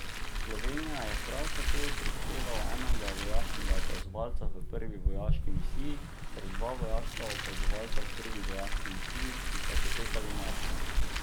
Slovenija je prav tako prispevala enega vojaškega opazovalca v prvi vojaški misiji ter dva vojaška opazovalca v drugi vojaški misiji, ki sta potekali marca.